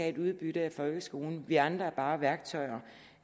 et udbytte af folkeskolen vi andre er bare værktøjer